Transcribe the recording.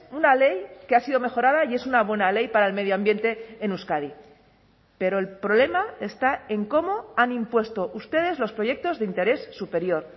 una ley que ha sido mejorada y es una buena ley para el medio ambiente en euskadi pero el problema está en cómo han impuesto ustedes los proyectos de interés superior